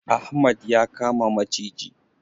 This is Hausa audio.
Ahmad ya kama maciji.